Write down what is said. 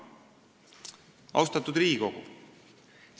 Austatud Riigikogu!